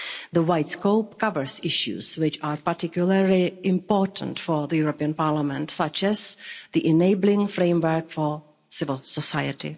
The wide scope covers issues which are particularly important for the European Parliament, such as the enabling framework for civil society.